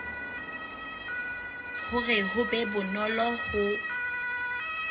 hore ho be bonolo ho